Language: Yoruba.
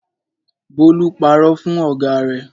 Bólú parọ́ fún ọ̀gá rẹ̀.